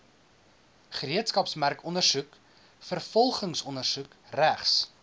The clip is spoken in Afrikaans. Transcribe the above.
gereedskapsmerkondersoek vervolgingsondersoek regs